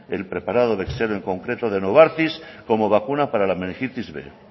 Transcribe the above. el preparado en concreto de novartis como vacuna para la meningitis b